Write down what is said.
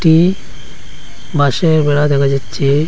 ই বাঁশের বেড়া দেখা যাচ্ছে।